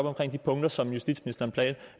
omkring de punkter som justitsministeren